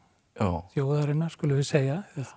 þjóðarinnar skulum við segja